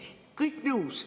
Kõigega nõus.